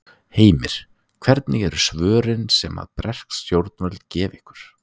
Heimir: Hvernig eru svörin sem að bresk stjórnvöld gefa ykkur?